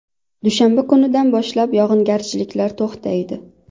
Dushanba kunidan boshlab yog‘ingarchiliklar to‘xtaydi.